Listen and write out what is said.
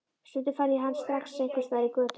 Stundum fann ég hann strax einhvers staðar í götunni.